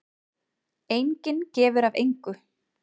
Enginn gefur af engu.